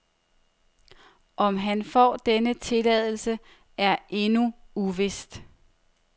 Om han får denne tilladelse, er endnu uvist.